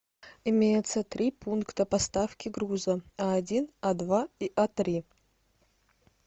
имеется три пункта поставки груза а один а два и а три